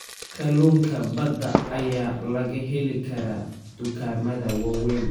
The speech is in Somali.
Kalluunka badda ayaa laga heli karaa dukaamada waaweyn.